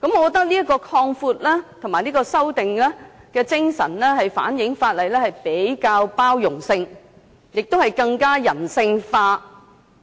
我覺得這項修正案，反映法例比較有包容性，亦更加人性化，